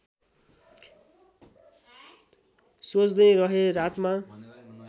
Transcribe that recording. सोच्दै रहेँ रातमा